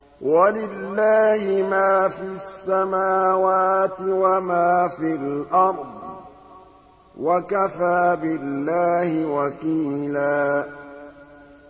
وَلِلَّهِ مَا فِي السَّمَاوَاتِ وَمَا فِي الْأَرْضِ ۚ وَكَفَىٰ بِاللَّهِ وَكِيلًا